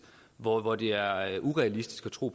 hvor det er er urealistisk at tro